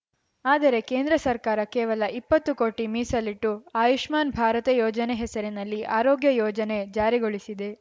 ಆದರೆ ಕೇಂದ್ರ ಸರ್ಕಾರ ಕೇವಲ ಇಪ್ಪತ್ತು ಕೋಟಿ ಮೀಸಲಿಟ್ಟು ಆಯುಷ್ಮಾನ್‌ ಭಾರತ ಯೋಜನೆ ಹೆಸರಿನಲ್ಲಿ ಆರೋಗ್ಯ ಯೋಜನೆ ಜಾರಿಗೊಳಿಸಿದೆ